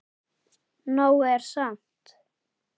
Nóg er samt.